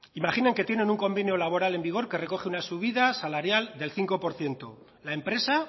imaginen que tienen un convenio laboral en vigor que recoge una subida salarial del cinco por ciento la empresa